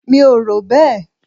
Mi ò rò bẹ́ẹ̀.